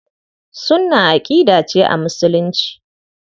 Sunnah aƙida ce a Musulunci.